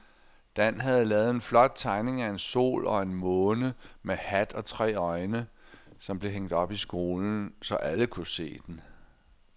Dan havde lavet en flot tegning af en sol og en måne med hat og tre øjne, som blev hængt op i skolen, så alle kunne se den.